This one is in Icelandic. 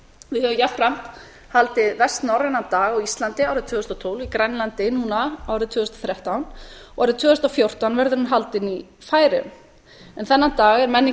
við höfum jafnframt haldið vestnorrænan dag á íslandi árið tvö þúsund og tólf í grænlandi núna árið tvö þúsund og þrettán og árið tvö þúsund og fjórtán verður hún haldin í færeyjum þennan dag er menningu